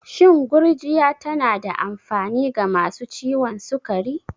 Shin gurjiya tana da amfani ga masu ciwon sukari?